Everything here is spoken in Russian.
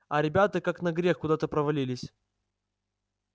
а ребята как на грех куда то провалились